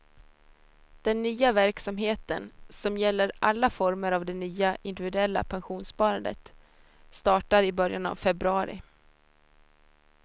Den nya verksamheten, som gäller alla former av det nya individuella pensionssparandet, startar i början av februari.